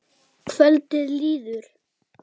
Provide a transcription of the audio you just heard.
Kvöldið líður.